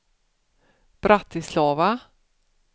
Bratislava